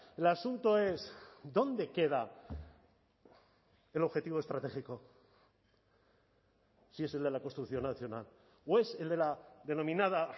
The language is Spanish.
el asunto es dónde queda el objetivo estratégico si es el de la construcción nacional o es el de la denominada